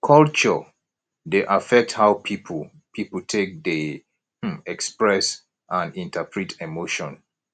culture dey affect how pipo pipo take dey um express and interpret emotion